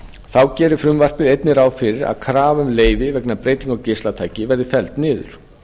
þá gerir frumvarpið einnig ráð fyrir að krafa um leyfi vegna breytinga á geislatæki verði felld niður